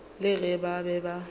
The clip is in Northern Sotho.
le ge ba be ba